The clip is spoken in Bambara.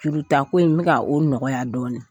Jurutako in n bɛ ka o nɔgɔya dɔɔnin